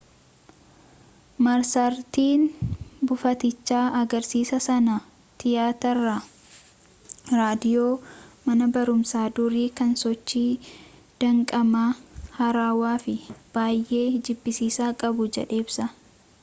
marsariitiin buufatichaa agarsiisa sana tiyaatira raadiyoo mana barumsaa durii kan sochii danqamaa haarawaa fi baay'ee jibbisiisaa qabu jedhee ibsa